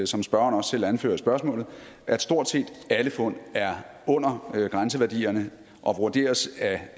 som spørgeren også selv anfører i spørgsmålet at stort set alle fund er under grænseværdierne og vurderes